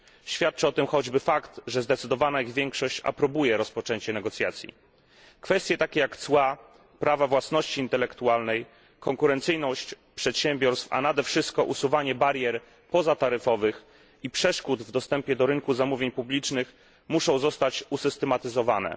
Świadczy o tym choćby fakt, że zdecydowana ich większość aprobuje rozpoczęcie negocjacji. Kwestie takie jak cła, prawa własności intelektualnej, konkurencyjność przedsiębiorstw, a nade wszystko usuwanie barier pozataryfowych i przeszkód w dostępie do rynku zamówień publicznych muszą zostać usystematyzowane.